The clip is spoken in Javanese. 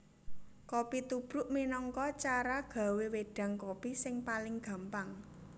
Kopi tubruk minangka cara gawé wédang kopi sing paling gampang